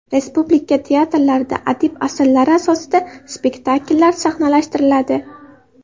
Respublika teatrlarida adib asarlari asosida spektakllar sahnalashtiriladi.